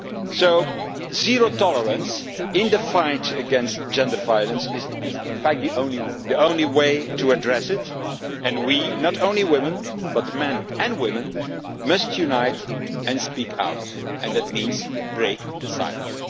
So zero tolerance in the fight against gender violence is, in fact, the only way to address it, and we not only women, but men and women must unite and speak out, and that means break the silence.